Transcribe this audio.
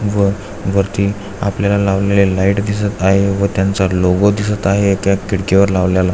व वरती आपल्याला लावलेल्या लाइट दिसत आहे व त्यांचा लोगो दिसत आहे त्या खिडकीवर लावल्याला.